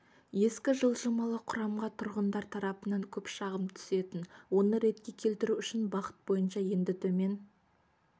ескі жылжымалы құрамға тұрғындар тарапынан көп шағым түсетін оны ретке келтіру үшін бағыт бойынша енді төмен